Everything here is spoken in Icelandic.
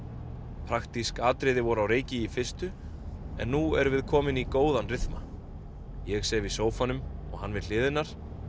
praktísk atriði voru á reiki í fyrstu en nú erum við komin í góðan rythma ég sef í sófanum og hann við hlið hennar